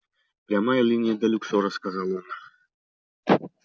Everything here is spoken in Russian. прямая линия до люксора сказал он